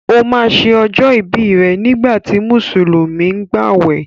O ma ṣe ọjọ́ ìbí rẹ̀ nígbàtí Mùsùlùmí ń gbàwẹ̀